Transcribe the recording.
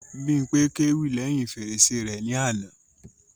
Bímpé kéwì lẹ́hìn fèrèsé rẹ ní àná